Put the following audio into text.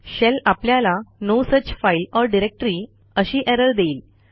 shell आपल्याला no such file or directory अशी error देईल